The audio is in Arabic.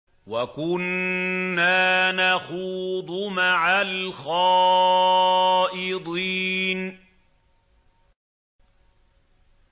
وَكُنَّا نَخُوضُ مَعَ الْخَائِضِينَ